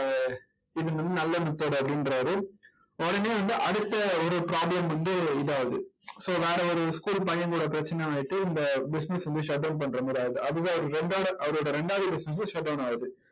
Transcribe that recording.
இது நல்ல method அப்படின்றாரு. உடனே வந்து அடுத்த ஒரு problem வந்து இது ஆகுது so வேற ஒரு school பையன் கூட பிரச்சனை ஆயிட்டு இந்த business வந்து shut down பண்ற மாதிரி ஆயிடுது. அதுவே அவரோட இரண்டோட அவரோட இரண்டாவது business உம் shut down ஆகுது